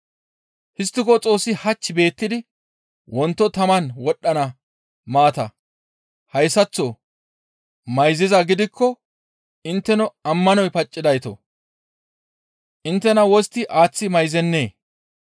Histtiko Xoossi hach beettidi wonto taman wodhdhana maata hayssaththo mayzizaa gidikko intteno ammanoy paccidaytoo! Inttena wostti aaththi mayizennee?